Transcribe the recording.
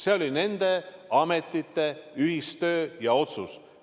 See oli nende ametite ühistöö ja otsus.